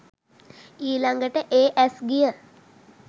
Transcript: ඊළඟට ඒ ඇස් ගිය